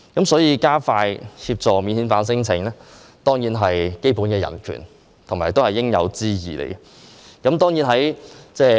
所以，加快處理免遣返聲請，當然是關乎基本的人權，也是應有之義。